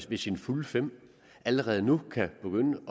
ved sine fulde fem allerede nu kan begynde